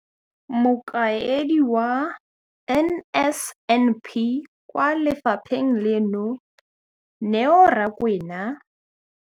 Mokaedi wa NSNP kwa lefapheng leno, Neo Rakwena,